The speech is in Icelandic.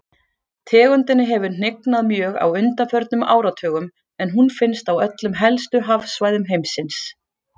Tegundinni hefur hnignað mjög á undanförnum áratugum en hún finnst á öllum helstu hafsvæðum heimsins.